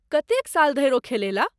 कतेक साल धरि ओ खेलेलाह ?